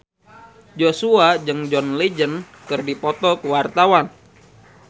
Joshua jeung John Legend keur dipoto ku wartawan